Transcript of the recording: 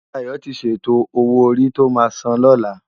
Dayo ti sétó ówó órí tó má sán lòlá